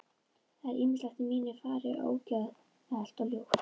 Það er ýmislegt í mínu fari ógeðfellt og ljótt.